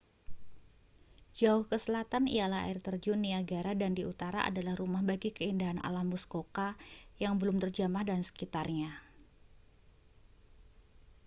jauh ke selatan ialah air terjun niagara dan di utara adalah rumah bagi keindahan alam muskoka yang belum terjamah dan sekitarnya